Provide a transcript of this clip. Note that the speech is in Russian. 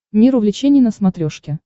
мир увлечений на смотрешке